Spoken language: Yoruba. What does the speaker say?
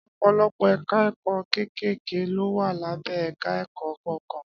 Ọ̀pọ̀lọpọ̀ ẹ̀ka ẹ̀kọ́ kéékèèké ló wà lábẹ́ ẹ̀ka ẹ̀kọ́ kọ̀ọ̀kan